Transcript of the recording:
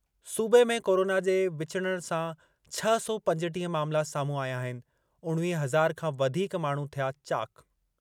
सूबे में कोरोना जे विचुड़णु सां छह सौ पंजटीह मामला साम्हूं आया आहिनि उणिवीह हज़ार खां वधीक माण्हू थिया चाक।